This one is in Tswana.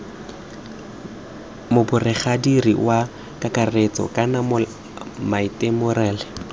moboregadiri wa kakaretso kana moatemerale